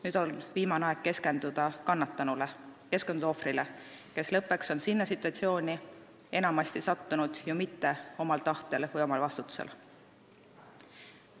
Nüüd on viimane aeg keskenduda kannatanule, keskenduda ohvrile, kes lõppeks on sinna situatsiooni enamasti sattunud ju mitte omal tahtel või omal vastutusel.